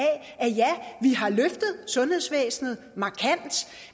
at ja vi har løftet sundhedsvæsenet markant